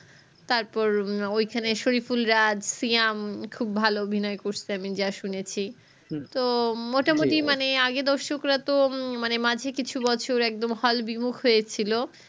তারপর ঐখানে শরিফুল রাজ্ সিয়াম খুব ভালো দিনের অভিনয় করছে আমি এ শুনেছি তো মোটামোটি আগের দর্শকরা তো উহ মানে মাঝে কিছু বছর একদম hall বিমুখ হয়েছিল